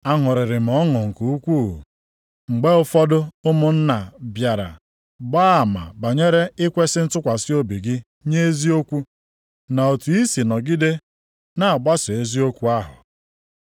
Aṅụrịrị m ọṅụ nke ukwu, mgbe ụfọdụ ụmụnna bịara gbaa ama banyere ikwesi ntụkwasị obi gị nye eziokwu, na otu i si nọgide na-agbaso eziokwu ahụ.